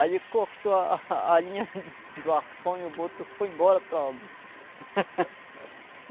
Aí ele cortou a a a linha do arpão e o boto foi embora para Óbidos.